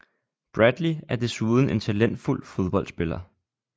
Bradley er desuden en talentfuld fodboldspiller